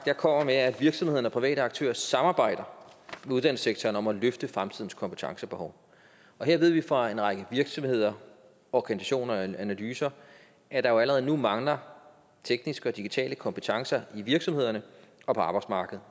jeg kommer med er at virksomhederne og private aktører samarbejder med uddannelsessektoren om at løfte fremtidens kompetencebehov og her ved vi fra en række virksomheder organisationer og analyser at der jo allerede nu mangler tekniske og digitale kompetencer i virksomhederne og på arbejdsmarkedet